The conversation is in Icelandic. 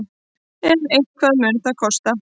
En eitthvað mun það kosta.